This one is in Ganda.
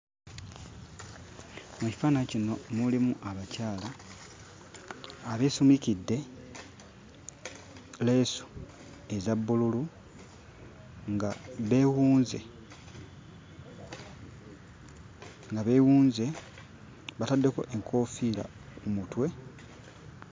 Mu kifaananyi kino mulimu abakyala abeesumikidde leesu eza bbululu nga beewunze, nga beewunze, bataddeko enkoofiira ku mutwe.